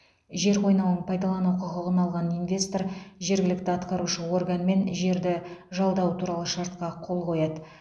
жер қойнауын пайдалану құқығын алған инвестор жергілікті атқарушы органмен жерді жалдау туралы шартқа қол қояды